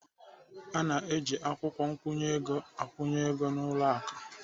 A na-eji akwụkwọ nkwụnye ego akwụnye ego n'ụlọ akụ.